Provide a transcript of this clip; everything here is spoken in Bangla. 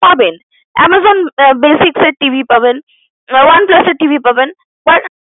পাবেন Amazon basics এর TV পাবেন OnePlus এর TV পাবেন but